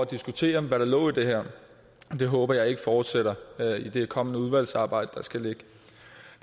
diskutere hvad der lå i det her det håber jeg ikke fortsætter i det kommende udvalgsarbejde